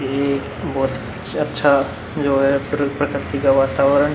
यह एक बहुत अच्छा जो है प्र प्रकर्ति का वातावरण --